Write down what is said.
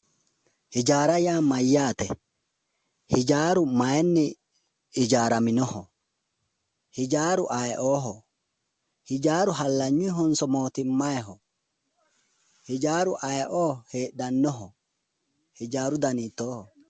Hijaara ya mayaate? Hijaaru mayini hijaaraminoho? hijaaru ayi'oho hijaaru halagnunihonso mootimayi'ho? hijaaru ayi'o heedhanoho hijaaru Dani hiitoho?